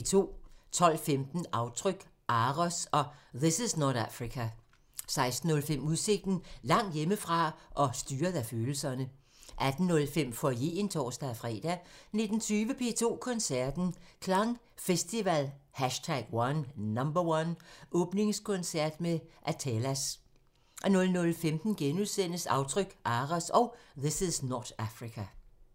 12:15: Aftryk – AROS og This is not Africa 16:05: Udsigten – Langt hjemme fra og styret af følelserne 18:05: Foyeren (tor-fre) 19:20: P2 Koncerten – Klang Festival #1 – Åbningskoncert med Athelas 00:15: Aftryk – AROS og This is not Africa *